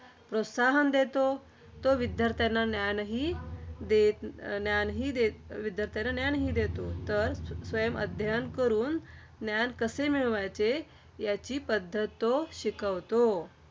प्रोत्साहन देतो. तो विद्यार्थ्यांना ज्ञानहि देत अं ज्ञानहि देत विद्यार्थ्यांना ज्ञानहि देतो. तर स्वयंअध्ययन करून ज्ञान कसे मिळवायचे, याची पद्धत तो शिकवितो.